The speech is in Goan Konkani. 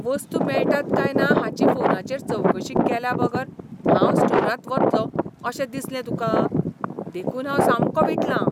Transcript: वस्तू मेळटात काय ना हाची फोनाचेर चवकशी केल्याबगर हांव स्टोरांत वतलों अशें दिसलें तुकां, देखून हांव सामको विटलां.